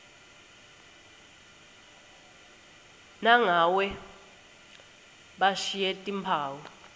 nangabe bashiye timphawu